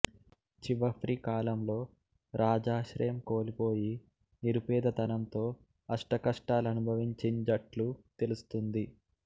చివఫ్రి కాలంలో రాజాశ్రయం కోల్పోయి నిరుపేదతనంతో అష్టకష్టాలు అనుభవించింజట్లు తెలుస్తుంది